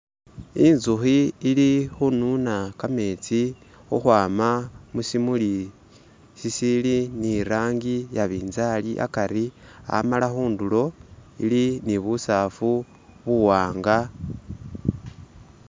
Inzuhi ili hununa kametsi huhwama musimuli sisili ni rangi iya binzali akari, amala hundulo ili ni busafu buwanga